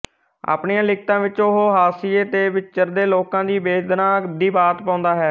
ਆਪਣੀਆਂ ਲਿਖਤਾਂ ਵਿੱਚ ਉਹ ਹਾਸ਼ੀਏ ਤੇ ਵਿਚਰਦੇ ਲੋਕਾਂ ਦੀ ਵੇਦਨਾ ਦੀ ਬਾਤ ਪਾਉਂਦਾ ਹੈ